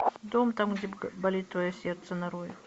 дом там где болит твое сердце нарой